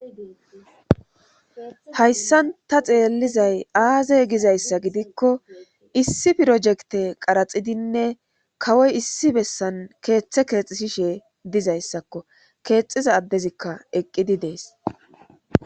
Hayssan ta xeellizay aazey gizayssa gidikko issi pirojekte qaraxidinne kawoy issi bessan keeththe keexisishe dizayssakko keexiza addezikka eqqidi dees.